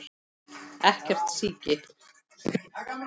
Ekkert síki.